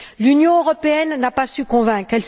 L'Union européenne n'a pas su convaincre.